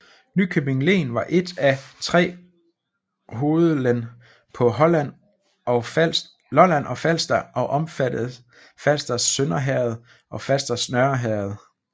Nykøbing Len var et af tre hovedlen på Lolland og Falster og omfattede Falsters Sønder Herred og Falsters Nørre Herred